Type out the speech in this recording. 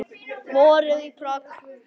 Vorið í Prag